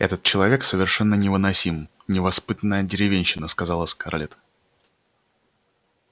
этот человек совершенно невыносим невоспитанная деревенщина сказала скарлетт